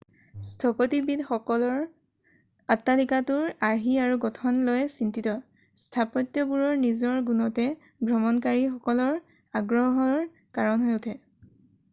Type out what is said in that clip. স্থপতিবিদসকল অট্টালিকাটোৰ আৰ্হি আৰু গঠন লৈ চিন্তিত স্থাপত্যবোৰৰ নিজৰ গুণতে ভ্ৰমণকাৰীসকলৰ আগ্ৰহৰ কাৰণ হৈ উঠে